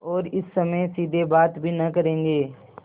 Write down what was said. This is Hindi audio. और इस समय सीधे बात भी न करेंगे